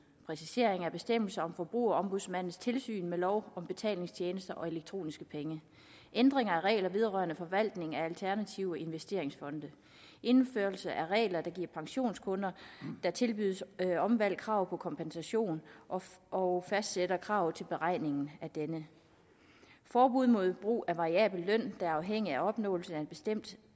præcisering af bestemmelse om forbrugerombudsmandens tilsyn med lov om betalingstjenester og elektroniske penge ændring af regler vedrørende forvaltning af alternative investeringsfonde indførelse af regler der giver pensionskunder der tilbydes omvalg krav på kompensation og og fastsætter krav til beregningen af denne forbud mod brug af variabel løn der er afhængig af opnåelse af et bestemt